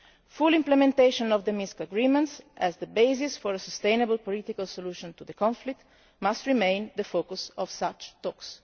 Full implementation of the Minsk agreements as the basis for a sustainable political solution to the conflict must remain the focus of such talks'.